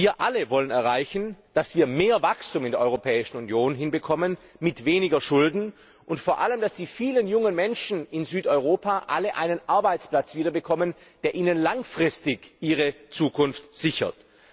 Wir alle wollen erreichen, dass wir mehr Wachstum in der Europäischen Union hinbekommen mit weniger Schulden und vor allem, dass die vielen jungen Menschen in Südeuropa alle wieder einen Arbeitsplatz bekommen, der ihnen langfristig ihre Zukunft sichert.